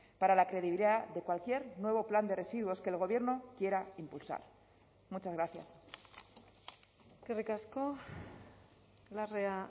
para la credibilidad de cualquier nuevo plan de residuos que el gobierno quiera impulsar muchas gracias eskerrik asko larrea